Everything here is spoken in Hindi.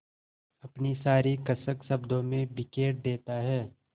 अपनी सारी कसक शब्दों में बिखेर देता है